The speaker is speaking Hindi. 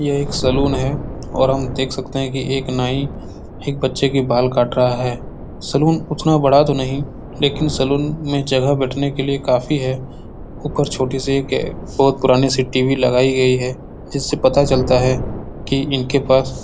ये एक सलून है और हम देख सकते हैं कि एक नाई एक बच्चे के बाल काट रहा है सलून उतना बड़ा तो नही लेकिन सलून में जगह बेठने के लिय काफ़ी है ऊपर एक छोटी सी एक बहौत पुरानी सी टी.वी. लगाईं गई है जिससे पता चलता है की इनके पास --